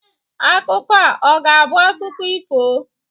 Akụkọ a ọ ga-abụ akụkọ ifo?